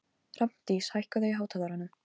Hrafndís, hækkaðu í hátalaranum.